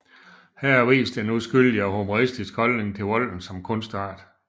Her vist med en uskyldig og humoristisk holdning til volden som kunstart